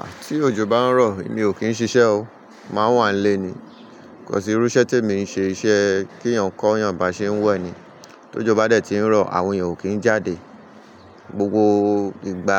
Ah! Tí òjò bá ń rọ̀, èmi ò kí ń ṣiṣẹ́ o, màá wà nílé ni. Kọ̀ si irú isẹ́ tí èmi ń ṣe iṣẹ́ k'eeyàn kọ'yàn bá ṣe ń wẹ̀ ni. Tójo bá dẹ̀ ti ń rọ̀, àwọn èèyàn ò kí ń jáde. Gbogbo ìgbà